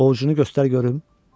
O, cogunu göstər görüm.